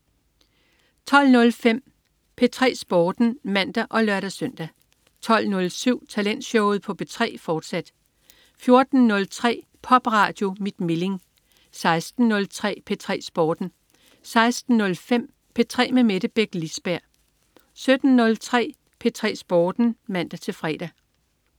12.05 P3 Sporten (man og lør-søn) 12.07 Talentshowet på P3, fortsat 14.03 Popradio mit Milling 16.03 P3 Sporten 16.05 P3 med Mette Beck Lisberg 17.03 P3 Sporten (man-fre)